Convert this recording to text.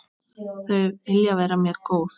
Þau vilja vera mér góð.